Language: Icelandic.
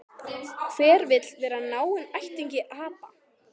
Hver vill vera náinn ættingi apa?